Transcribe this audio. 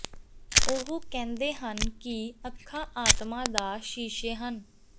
ਉਹ ਕਹਿੰਦੇ ਹਨ ਕਿ ਅੱਖਾਂ ਆਤਮਾ ਦਾ ਸ਼ੀਸ਼ੇ ਹਨ